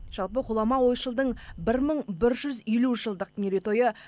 жалпы ғұлама ойшылдың бір мың бір жүз елу жылдық мерейтойы